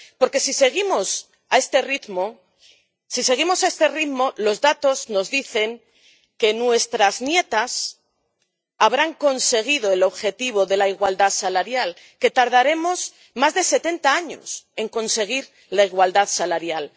Porque si seguimos a este ritmo, los datos nos dicen que nuestras nietas habrán conseguido el objetivo de la igualdad salarial, que tardaremos más de 70 años en conseguir la igualdad salarial.